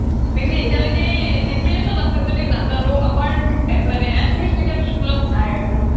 may be এতিয়া লৌকে DPS আছে য্দি নাজানো আমাৰ অসমীয়া medium school ত নাই আৰু মানে